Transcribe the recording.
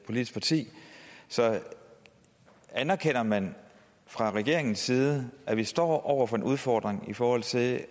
politisk parti så anerkender man fra regeringens side at vi står over for en udfordring i forhold til